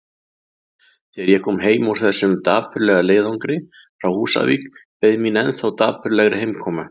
Þegar ég kom heim úr þessum dapurlega leiðangri frá Húsavík beið mín ennþá dapurlegri heimkoma.